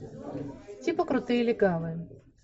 типа крутые легавые